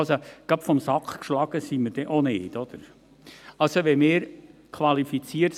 Gerade vom Sack geschlagen sind wir auch nicht.